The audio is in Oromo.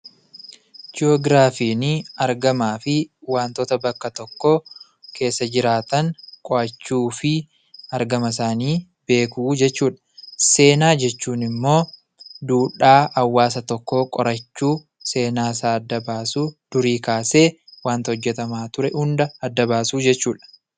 Jiyoogiraafiin argamaa fi waantota bakka tokko keessa jiraatan qo'achuu fi argama isaanii beekuu jechuu dha. Seenaa jechuun immoo duudhaa hawaasa tokkoo qorachuu, seenaasaa adda baasuu, durii kaasee wanta hojjetamaa ture hunda adda baasuu jechuu dha.